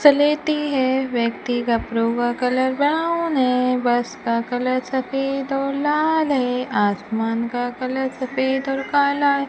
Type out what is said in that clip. सलेती है व्यक्ति का कलर ब्राउन है बस का कलर सफेद और लाल है आसमान का कलर सफेद और काला है।